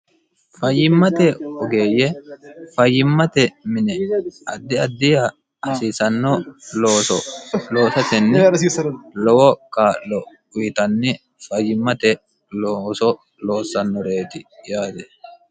fayyimmate ogeeyye fayyimmate mine addi addiha hasiisanno looso loosasenni lowo kaa'lo uyitanni fayyimmate looso loossannoreeti yaate